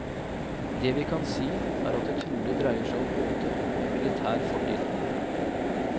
Det vi kan si, er at det trolig dreier seg om båter med militær fortid.